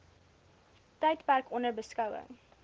tydperk onder beskouing